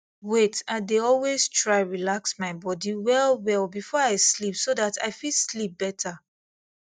wait i dey always try relax my body wellwell before i sleep so that i fit sleep better